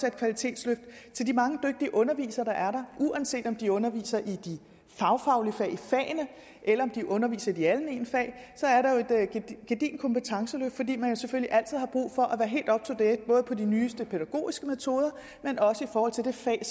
et kvalitetsløft til de mange dygtige undervisere der er der uanset om de underviser i de fagfaglige fag eller om de underviser i de almene fag så er der jo et gedigent kompetenceløft fordi man selvfølgelig altid har brug for at de nyeste pædagogiske metoder men også i forhold til det fag